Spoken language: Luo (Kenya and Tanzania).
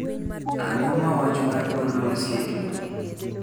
Ang'o ma wach mar kor lwasi e juma ni